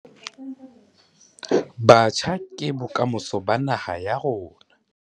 Batjha ke bokamoso ba naha ya rona.